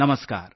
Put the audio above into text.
नमस्कार